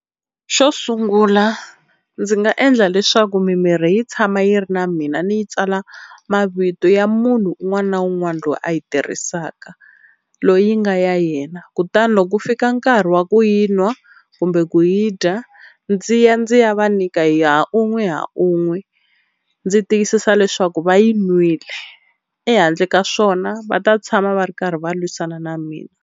Xo sungula ndzi nga endla leswaku mimirhi yi tshama yi ri na mina ni yi tsala mavito ya munhu un'wana na un'wana loyi a yi tirhisaka, loyi nga ya yena kutani loko ku fika nkarhi wo wa ku yi nwa kumbe ku yi dya ndzi ya ndzi ya va nyika ya unwe ha unwe ndzi tiyisisa leswaku va yi n'wile, ehandle ka swona va ta tshama va ri karhi va lwisana na mina.